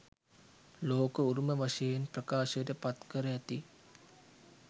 ලෝක උරුම වශයෙන් ප්‍රකාශයට පත්කර ඇති